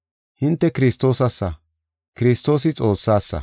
Hinte Kiristoosassa; Kiristoosi Xoossasa.